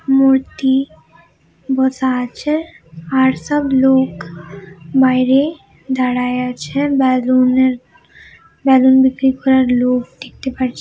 মূর্তি বসা আছে আর সব লোক বাইরে দাঁড়ইয়া আছে বেলুন -এর বেলুন বিক্রি করার লোক দেখতে পারছ--